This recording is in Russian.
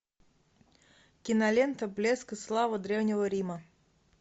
кинолента блеск и слава древнего рима